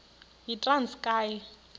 yitranskayi